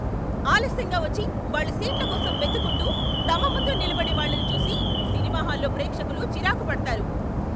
ఆలస్యంగా వచ్చి, వాళ్ళ సీట్ల కోసం వెతుక్కుంటూ, తమ ముందు నిలబడే వాళ్ళని చూసి సినిమా హాల్లో ప్రేక్షకులు చిరాకు పడతారు.